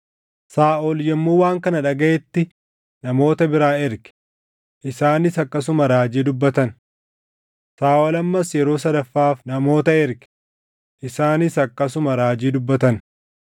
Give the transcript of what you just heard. Saaʼol yommuu waan kana dhagaʼetti namoota biraa erge; isaanis akkasuma raajii dubbatan. Saaʼol ammas yeroo sadaffaaf namoota erge; isaanis akkasuma raajii dubbatan.